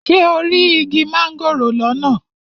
Ṣé o rí igi mángòrò lọ́nà?